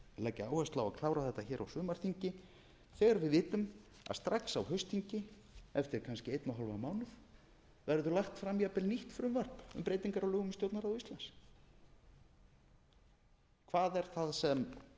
leggja áherslu á að klára þetta hér á sumarþingi þegar við vitum að strax á haustþingi eftir kannski einn og hálfan mánuð verður lagt fram jafnvel nýtt frumvarp um breytingar á lögum um stjórnarráð íslands hvað er það sem